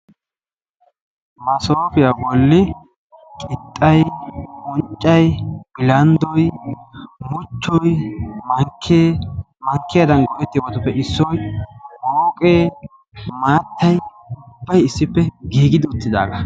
massofiya bollani oyttayi, unccay, pillay ne qassi akka ek ekidi maanayo moqee, yaarane haara de"iyagetti beettosona.